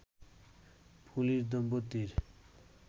police দম্পতির